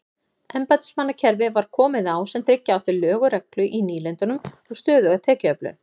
Embættismannakerfi var komið á sem tryggja átti lög og reglu í nýlendunum og stöðuga tekjuöflun.